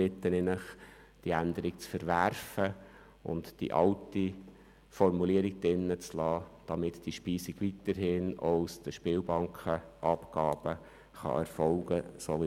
Deshalb bitte ich Sie, diese Änderung zu verwerfen und die alte Formulierung im Gesetz zu belassen, damit die Speisung weiterhin wie bisher aus der Spielbankenabgabe erfolgen kann.